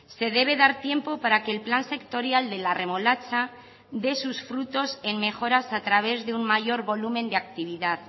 se debe dar tiempo para que el plan sectorial de la remolacha dé sus frutos en mejoras a través de un mayor volumen de actividad